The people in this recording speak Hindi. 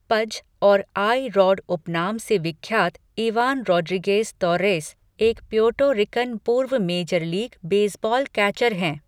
पज' और 'आई रॉड' उपनाम से विख्यात इवान रोड्रीगेज़ तोर्रेस, एक प्यूर्टो रिकन पूर्व मेजर लीग बेसबॉल कैचर है।